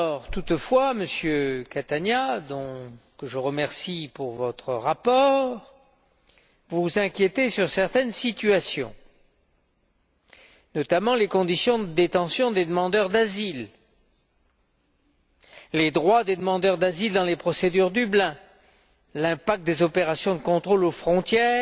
Toutefois, Monsieur Catania je vous remercie d'ailleurs pour votre rapport vous vous inquiétez de certaines situations, notamment des conditions de détention des demandeurs d'asile, des droits des demandeurs d'asile dans les procédures Dublin, de l'impact des opérations de contrôle aux frontières